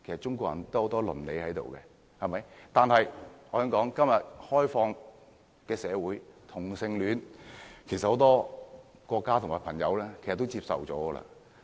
中國人有倫理，但我可以這樣說，在今天開放的社會，其實很多國家和朋友都接受同性戀。